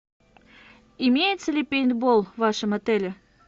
имеется ли пейнтбол в вашем отеле